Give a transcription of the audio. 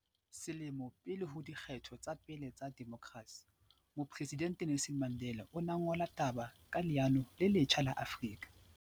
Selemo pele ho di kgetho tsa pele tsa demokrasi, Mopre sidente Nelson Mandela o ne a ngole taba ka leano le letjha la Afrika